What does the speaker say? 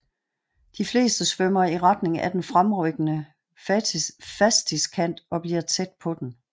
De fleste svømmer i retning af den fremrykkende fastiskant og bliver tæt på den